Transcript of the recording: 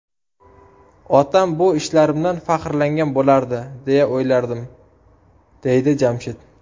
Otam bu ishlarimdan faxrlangan bo‘lardi, deya o‘ylardim”, deydi Jamshid.